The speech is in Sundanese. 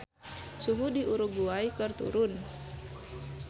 Suhu di Uruguay keur turun